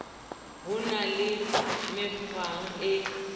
ho na le mekgwa e